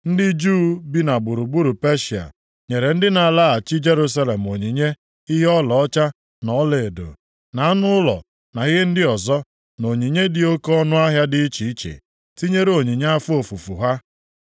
Ndị Juu bi na gburugburu Peshịa nyere ndị nke na-alaghachi Jerusalem onyinye ihe ọlaọcha na ọlaedo, na anụ ụlọ na ihe ndị ọzọ, na onyinye dị oke ọnụahịa dị iche iche, tinyere onyinye afọ ofufu ha.